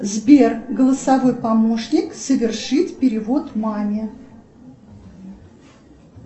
сбер голосовой помощник совершить перевод маме